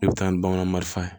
I bɛ taa ni bagan marisan